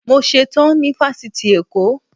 Mo ṣe tán ní Fásitì Èkó.